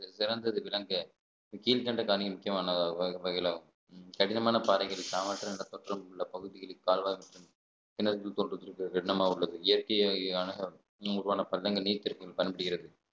சிறந்து இது விளங்க கீழ்கண்ட காணி முக்கியமான வ~ வகையிலே கடினமான பாறைகள் தோற்றமுள்ள பகுதிகளில் கால்வாய் மற்றும் கிணறுகள் தோண்டுவதற்கு எண்ணமாக உள்ளது இயற்கை வகையான உருவான பள்ளங்கள் நீர் திருப்பியும் காணப்படுகிறது